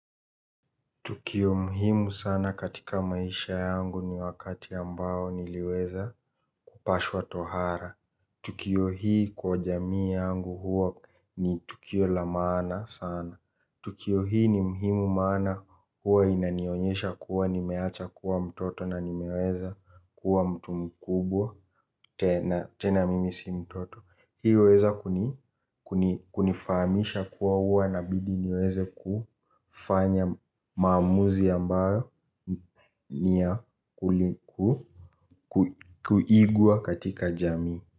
Tukio muhimu sana katika maisha yangu ni wakati ambao niliweza kupashwa tohara. Tukio hii kwa jamii yangu huwa ni tukio la maana sana. Tukio ni muhimu maana huwa inanionyesha kuwa nimeacha kuwa mtoto na nimeweza kuwa mtu mkubwa tena mimi si mtoto. Hiyo huweza kunifahamisha kuwa huwa inabidi niweze kufanya maanuzi ambayo ni ya kuigwa katika jamii.